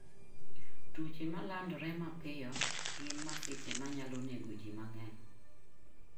Tuoche ma landore mapiyo gin masiche manyalo nego ji mang'eny.